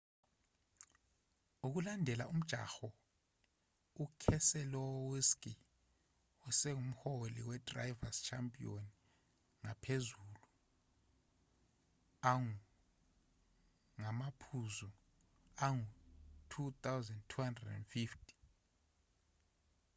ukulandela umjaho ukeselowski usengumholi wedrivers' championship ngamaphuzu angu-2250